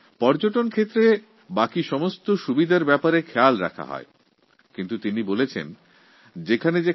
পর্যটনের ক্ষেত্রে অন্য সব সুবিধার দিকে নজর দেওয়া হয় কিন্তু উনি একটি বিশেষ দিকে দৃষ্টি আকর্ষণ করেছেন